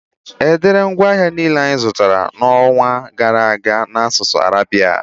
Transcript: Edere ngwaahịa niile anyị zụtara n'ọnwa gara aga n'asụsụ arabi